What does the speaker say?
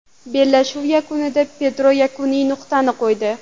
Bellashuv yakunida Pedro yakuniy nuqtani qo‘ydi.